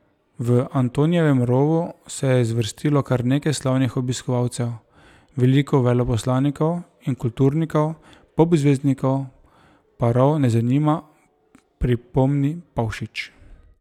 V Antonijevem rovu se je zvrstilo kar nekaj slavnih obiskovalcev, veliko veleposlanikov in kulturnikov, pop zvezdnikov pa rov ne zanima, pripomni Pavšič.